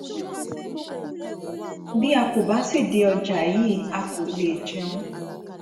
bí a kò bá sì dé ọjà yìí a kò lè jẹun